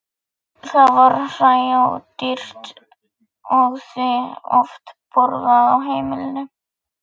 Það var hræódýrt og því oft borðað á heimilinu.